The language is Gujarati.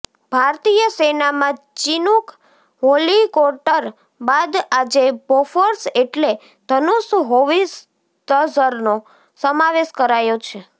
ભારતીય સેનામાં ચિનુક હોલિકોટર બાદ આજે બોફોર્સ એટલે ધનૂષ હોવિત્ઝરનો સમાવેશ કરાયો છે